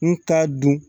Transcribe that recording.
N t'a dun